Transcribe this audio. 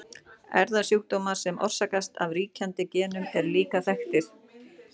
Erfðasjúkdómar sem orsakast af ríkjandi genum eru líka þekktir.